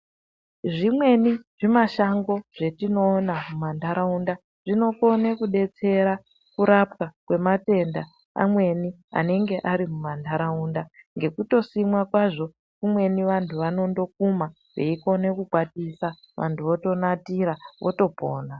Zvimweni zvimashango zvetinoona mumantaraunda zvinokone kudetsera kurapwa kwematenda amweni anenge ari mumantaraunda ngekutosimwa kwazvo kumweni vantu vanondokuma veikone kukwatisa vantu votonatira votopona.